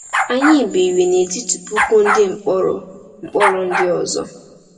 Anyị biri n’etiti puku ndị mkpọrọ mkpọrọ ndị ọzọ.